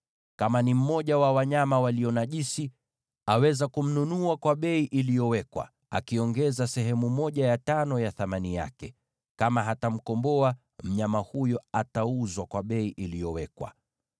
Kama ni mmoja wa wanyama walio najisi, aweza kumnunua kwa bei iliyowekwa, akiongeza sehemu ya tano ya thamani yake. Kama hatamkomboa, mnyama huyo atauzwa kwa bei iliyowekwa.